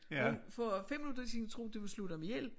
Hun for 5 minutter siden troede hun de ville slå dem ihjel